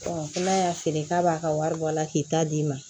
n'a y'a feere k'a b'a ka wari bɔ a la k'i ta d'i ma